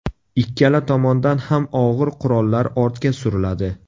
Ikkala tomondan ham og‘ir qurollar ortga suriladi.